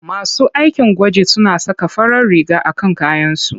Masu aikin gwaji suna saka farar riga a kan kayansu.